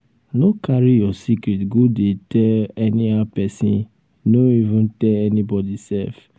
no carry your secret go dey tell anyhow pesin no even tell anybody sef.